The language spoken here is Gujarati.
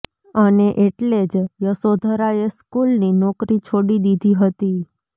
અને એટલે જ યશોધરાએ સ્કૂલની નોકરી છોડી દીધી હતી